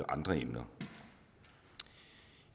andre emner